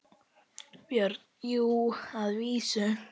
BJÖRN: Jú, að vísu.